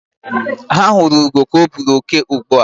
Ha huru ugo ka o buru oke ugbua